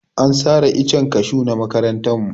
An sare icen kashu na makarantar mu.